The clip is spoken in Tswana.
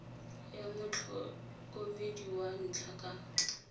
ya motlhokomedi wa ntlha ka